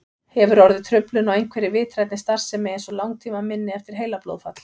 Hefur orðið truflun á einhverri vitrænni starfsemi eins og langtímaminni eftir heilablóðfall?